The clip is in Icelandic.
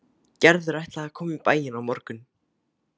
Gerður ætlaði að koma í bæinn á morgun.